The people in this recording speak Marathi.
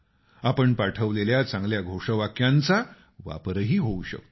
आपण पाठवलेल्या चांगल्या घोषवाक्यांचा वापरही होऊ शकतो